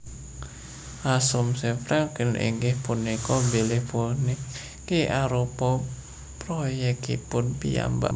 Asumsi Franklin inggih punika bilih puniki arupa proyèkipun piyambak